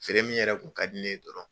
Feere min yɛrɛ k'u ka di ne dɔrɔn